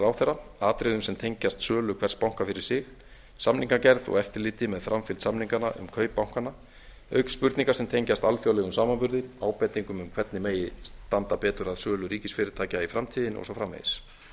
ráðherra atriðum sem tengjast sölu hvers banka fyrir sig samningagerð og eftirliti með framfylgd samninganna um kaup bankanna auk spurninga sem tengjast alþjóðlegum samanburði ábendingum um hvernig megi standa betur að sölu ríkisfyrirtækja í framtíðinni og svo framvegis ég